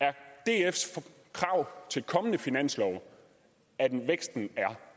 er dfs krav til kommende finanslove at væksten er